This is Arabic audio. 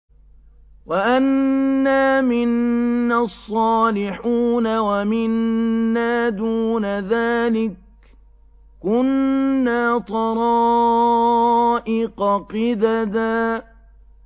وَأَنَّا مِنَّا الصَّالِحُونَ وَمِنَّا دُونَ ذَٰلِكَ ۖ كُنَّا طَرَائِقَ قِدَدًا